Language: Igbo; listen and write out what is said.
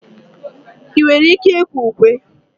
ị nwere ike ịkwe ukwe?